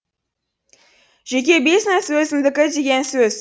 жеке бизнес өзімдікі деген сөз